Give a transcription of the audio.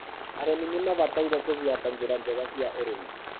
arĩmi nimabataire gũbuata njĩra njega cia ũrĩmi